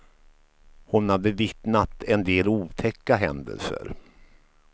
Hon har bevittnat en del otäcka händelser.